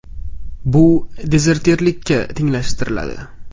Bu dezertirlikka tenglashtiriladi.